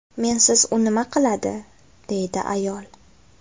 Mensiz u nima qiladi”, – deydi ayol.